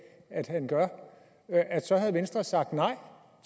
at han gør så havde venstre sagt nej